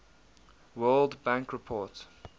world bank report